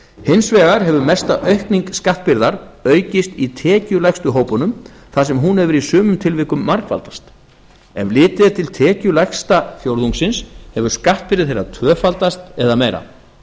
hins vegar hefur mesta aukning skattbyrðar aukist í tekjulægstu hópunum þar sem hún hefur í sumum tilvikum margfaldast ef litið er til tekjulægsta fjórðungsins hefur skattbyrði þeirra tvöfaldast eða meira